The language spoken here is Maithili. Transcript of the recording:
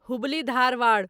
हुबली धारवाड़